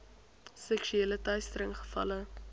seksuele teistering gevalle